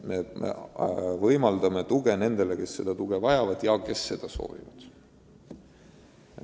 Me võimaldame tuge nendele, kes seda soovivad.